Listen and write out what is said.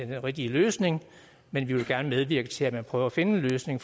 rigtige løsning men vi vil gerne medvirke til at man prøver at finde en løsning